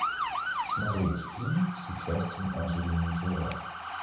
смотреть фильм с участием анджелины джоли